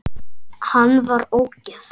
Hann var ógeð!